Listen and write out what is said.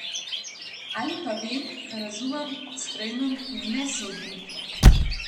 Ali pa vem, razumem, sprejmem in ne sodim.